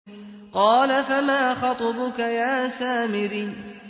قَالَ فَمَا خَطْبُكَ يَا سَامِرِيُّ